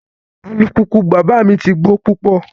Alupupu baba mi ti gbo pupọ